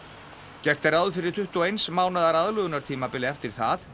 gert er ráð fyrir tuttugu og eins mánaðar aðlögunartímabili eftir það